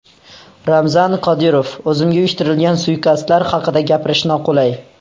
Ramzan Qodirov: O‘zimga uyushtirilgan suiqasdlar haqida gapirish noqulay.